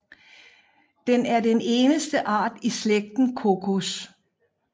Den er den eneste art i slægten Cocos